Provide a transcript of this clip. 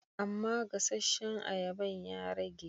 Amma gasasshen ayaban ya rage.